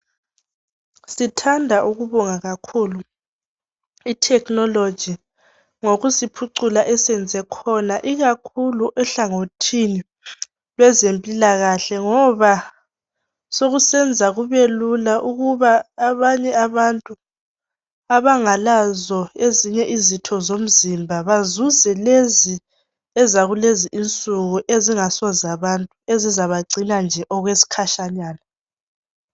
Sithanda ukubonga kakhulu ithekhinoloji ngokusiphucula esenze khona ikakhulu ehlangothini lwezempilakahle ngoba sokusenza kubelula ukuba abanye abantu abangalazo ezinye izitho zomzimba bazuze lezi ezakulezinsuku ezingasozabantu ezizabagcina nje okwesikhashanyana.